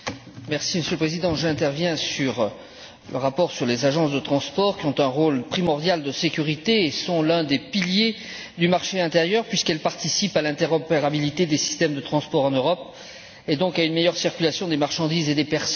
Monsieur le Président, j'interviens sur le rapport sur les agences de transport, qui ont un rôle primordial de sécurité et sont l'un des piliers du marché intérieur, puisqu'elles participent à l'interopérabilité des systèmes de transport en Europe et donc à une meilleure circulation des marchandises et des personnes.